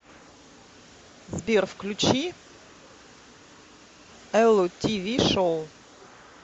сбер включи эллу ти ви шоу